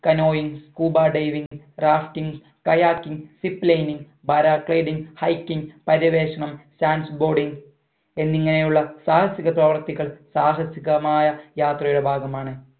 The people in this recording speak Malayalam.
canoeing scuba diving rafting kayaking zip lining para gliding hiking പര്യവേഷണം stands boarding എന്നിങ്ങനെയുള്ള സാഹസിക പ്രവർത്തികൾ സാഹസികമായ യാത്രയുടെ ഭാഗമാണ്